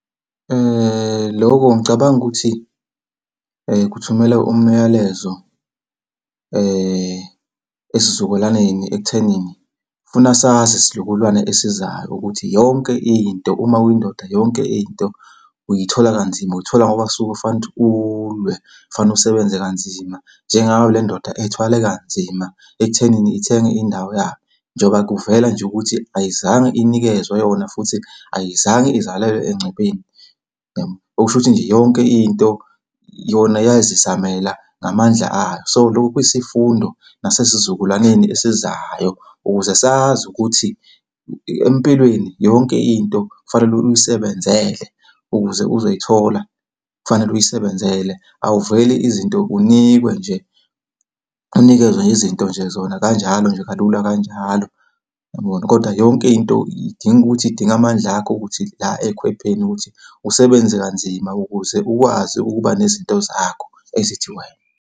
Loko ngicabanga ukuthi kuthumela umyalezo esizukulwaneni ekuthenini funa sazi isizukulwane esizayo ukuthi yonke into, uma uyindoda yonke into uyithola kanzima. Uyithola ngoba kusuke kufanele ukuthi ulwe, kufanele usebenze kanzima. Njengayo le ndoda ethwale kanzima ekuthenini ithenge indawo yayo. Njengoba kuvela nje ukuthi ayizange inikezwe yona, futhi ayizange izalelwe engcupheni. Okusho ukuthi nje yonke into yona yazizamela ngamandla ayo. So, lokhu kwiyisifundo nasesizukulwaneni esizayo ukuze sazi ukuthi empilweni yonke into kufanele uyisebenzele ukuze uzoyithola, kufanele uyisebenzele. Awuveli izinto unikwe nje, unikezwe nje izinto nje zona kanjalo nje kalula kanjalo, kodwa yonke into idinga ukuthi idinga amandla akho ukuthi la ey'khwepheni ukuthi usebenze kanzima ukuze ukwazi ukuba nezinto zakho, ezithi wena.